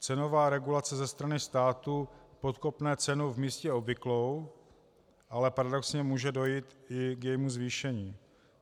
Cenová regulace ze strany státu podkopne cenu v místě obvyklou, ale paradoxně může dojít i k jejímu zvýšení.